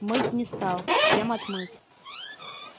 мыть не стал чем отмыть